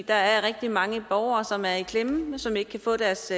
der er rigtig mange borgere som er i klemme og som ikke kan få deres